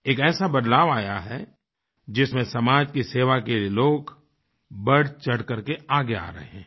एक ऐसा बदलाव आया है जिसमें समाज की सेवा के लिए लोग बढ़चढ़ करके आगे आ रहे हैं